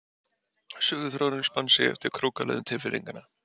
Söguþráðurinn spann sig eftir krókaleiðum tilfinninganna.